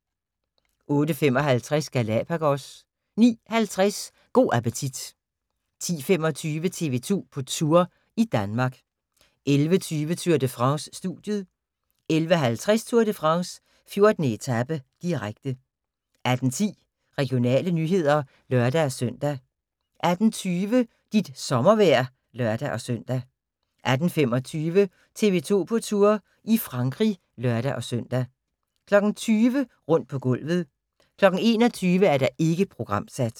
08:55: Galapagos 09:50: Go' appetit 10:25: TV 2 på Tour – i Danmark 11:20: Tour de France: Studiet 11:50: Tour de France: 14. etape, direkte 18:10: Regionale nyheder (lør-søn) 18:20: Dit sommervejr (lør-søn) 18:25: TV 2 på Tour – i Frankrig (lør-søn) 20:00: Rundt på gulvet 21:00: Ikke programsat